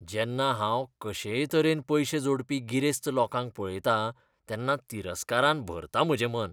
जेन्ना हांव कशेय तरेन पयशे जोडपी गिरेस्त लोकांक पळयतां तेन्ना तिरस्कारान भरता म्हजें मन.